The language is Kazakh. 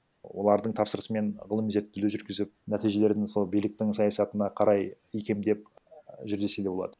олардың тапсырысымен ғылыми зерттеулер жүргізіп нәтижелерін сол биліктің саясатына қарай икемдеп жүр десе де болады